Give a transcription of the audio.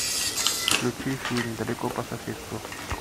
включи фильм далеко по соседству